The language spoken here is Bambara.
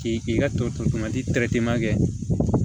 K'i k'i ka tomati kɛ